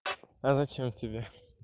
а зачем тебе